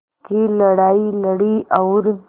की लड़ाई लड़ी और